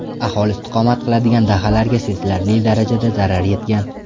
Aholi istiqomat qiladigan dahalarga sezilarli darajada zarar yetgan.